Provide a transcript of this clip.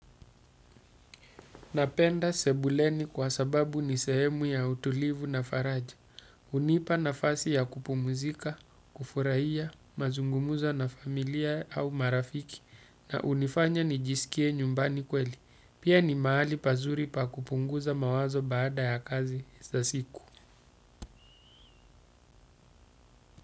Napenda sebuleni kwa sababu ni sehemu ya utulivu na faraja. Hunipa nafasi ya kupumuzika, kufurahia, mazungumuzo na familia au marafiki na hunifanya nijisikie nyumbani kweli. Pia ni mahali pazuri pa kupunguza mawazo baada ya kazi za siku.